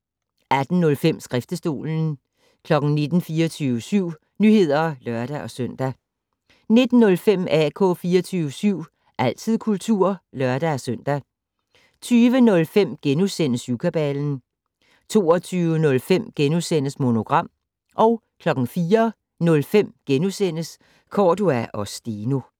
18:05: Skriftestolen 19:00: 24syv Nyheder (lør-søn) 19:05: AK 24syv - altid kultur (lør-søn) 20:05: Syvkabalen * 22:05: Monogram * 04:05: Cordua & Steno *